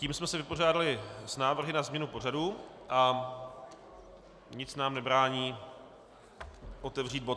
Tím jsme se vypořádali s návrhy na změnu pořadu a nic nám nebrání otevřít bod